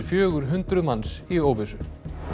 fjögur hundruð manns í óvissu